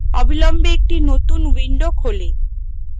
অবিলম্বে একটি নতুন window খোলে